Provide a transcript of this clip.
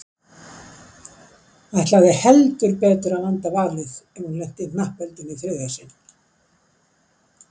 Ætlaði heldur betur að vanda valið ef hún lenti í hnappheldunni í þriðja sinn.